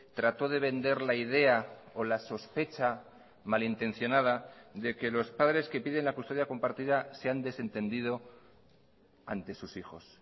trató de vender la idea o la sospecha malintencionada de que los padres que piden la custodia compartida se han desentendido ante sus hijos